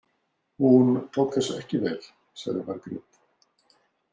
Hún tók þessu ekki vel, sagði Margrét.